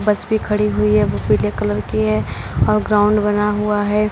बस भी खड़ी हुई है वह पीले कलर की है और ग्राउंड बना हुआ है।